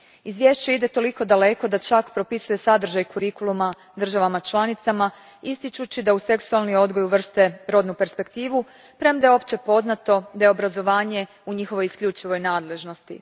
Izvješće ide toliko daleko da čak propisuje sadržaj kurikuluma državama članicama ističući da u seksualni odgoj uvrste rodnu perspektivu, premda je opće poznato da je obrazovanje u njihovoj isključivoj nadležnosti.